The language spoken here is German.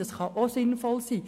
Das kann auch sinnvoll sein.